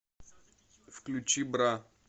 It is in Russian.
включи бра